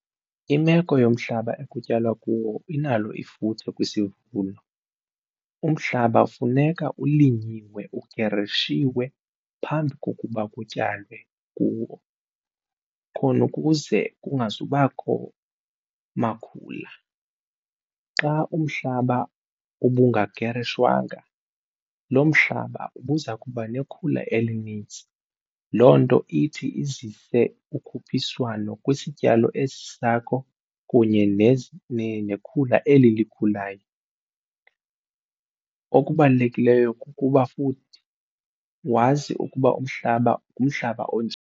Imeko yomhlaba ekutyalwa kuwo inalo ifuthe kwisivuno. Umhlaba funeka ulinyiwe ugerishiwe phambi kokuba kutyalwe kuwo khonukuze kungazubakho makhula. Xa umhlaba ubungagerishwanga lo mhlaba ubuza kuba nekhula elinintsi loo nto ithi izise ukhuphiswano kwisityalo esi sakho kunye nekhula eli likhulayo. Okubalulekileyo kukuba futhi wazi ukuba umhlaba ngumhlaba onjani.